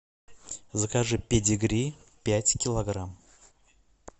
закажи педигри пять килограмм